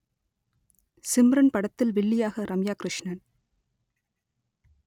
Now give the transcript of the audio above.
சிம்ரன் படத்தில் வில்லியாக ரம்யா கிருஷ்ணன்